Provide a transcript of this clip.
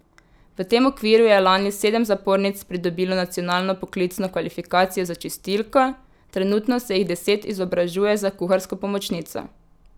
V tem okviru je lani sedem zapornic pridobilo nacionalno poklicno kvalifikacijo za čistilko, trenutno se jih deset izobražuje za kuharsko pomočnico.